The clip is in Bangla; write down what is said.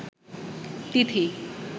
তিথি